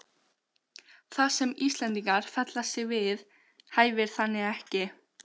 Það, sem Íslendingar fella sig við, hæfir þannig ekki